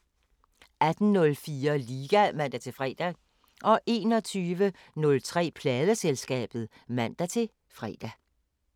18:04: Liga (man-fre) 21:03: Pladeselskabet (man-fre)